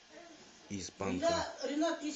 из панка